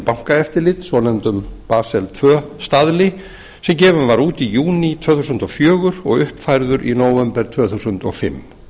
bankaeftirlit svonefndum basel tvö staðli sem gefinn var út í júní tvö þúsund og fjögur og uppfærður í nóvember tvö þúsund og fimm